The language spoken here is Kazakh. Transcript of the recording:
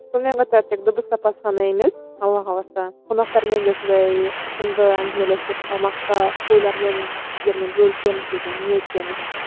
сонымен қатар тек дыбыс сапасы ғана емес алла қаласа қонақтармен де сондай тұщымды әңгімелесіп салмақты ойлармен сіздермен бөлісеміз деген ниеттеміз